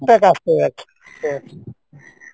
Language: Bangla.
একটা কাজ করে রাখসে